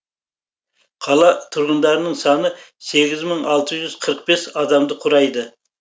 қала тұрғындарының саны сегіз мың алты жүз қырық бес адамды құрайды